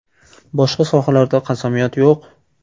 Boshqa sohalarda qasamyod yo‘q.